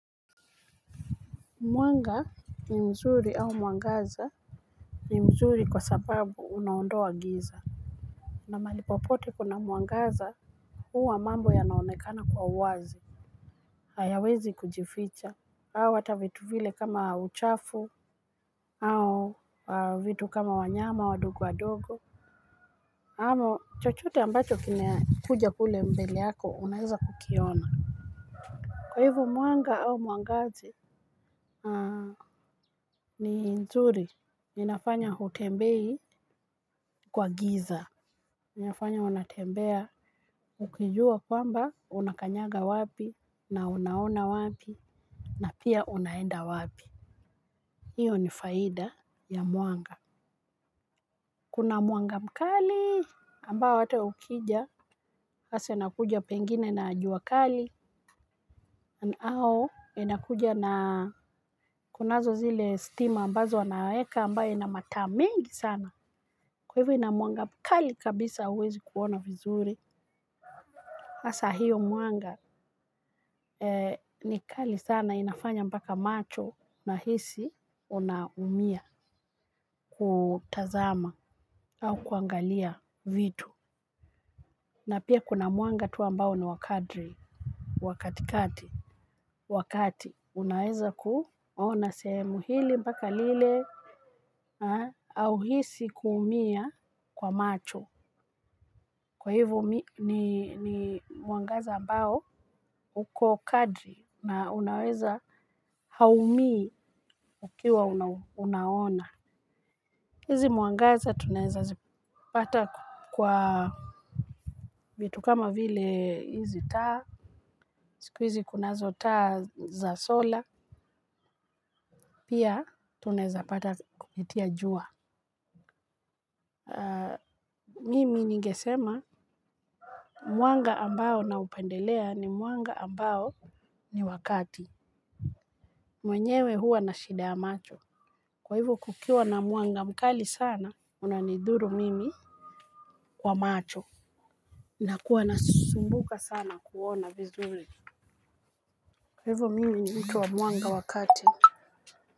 Mwanga ni mzuri au muangaza ni mzuri kwa sababu unaondoa giza. Na malipopote kuna muangaza huwa mambo yanaonekana kwa wazi. Hayawezi kujificha. Au ata vitu vile kama uchafu au vitu kama wanyama wadogo wadogo amo chochote ambacho kine kuja kule mbele yako unaheza kukiona. Kwa hivu muanga au muangaze ni mzuri. Ninafanya hutembei kwa giza. Ninafanya unatembea ukijua kwamba unakanyaga wapi na unaona wapi na pia unaenda wapi. Iyo ni faida ya muanga. Kuna muanga mkali ambao ata ukija base nakuja pengine na jua kali. Na au inakuja na kunazo zile stima ambazo wanaweka ambayo inamata mengi sana. Kwa hivyo inamuanga mkali kabisa uwezi kuona vizuri. Hasaa hiyo mwanga ni kali sana inafanya mpaka macho nahisi unaumia kutazama au kuangalia vitu. Na pia kuna mwanga tu ambao ni wa kadri wa katikati. Wa kati unaweza kuona sehemu hili moaka lile. Hauhisi kuumia kwa macho kwa hivo ni mwangaza ambao uko kadri na unaweza haumii ukiwa unaona hizi mwangaza tunaeza zipata kwa vitu kama vile hizi taa, siku hizi kunazo taa za solar pia hata unaweza pata kupitia jua. Mimi ningesema mwanga ambao naupendelea ni mwanga ambao ni wa kati. Mwenyewe huwa na shida ya macho, kwa hivyo kukiwa na mwanga mkali sana unanidhuru mimi kwa macho. Na kuwa nasumbuka sana kuona vizuri. Kwa hivyo mimi ni mtu wa mwanga wa kati.